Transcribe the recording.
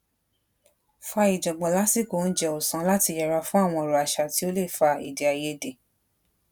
fa ìjọngbon lasiko oúnjẹ ọsán láti yẹra fún àwọn òro asa ti o le fa ede aiyede